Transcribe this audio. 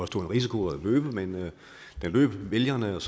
stor en risiko at løbe men den løb vælgerne og